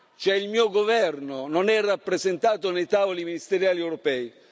cioè che il mio governo non è rappresentato nei tavoli ministeriali europei.